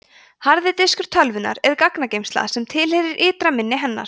harði diskur tölvunnar er gagnageymsla sem tilheyrir ytra minni hennar